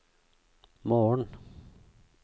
morgen